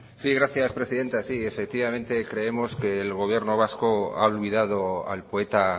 sí gracias presidenta sí efectivamente creemos que el gobierno vasco ha olvidado al poeta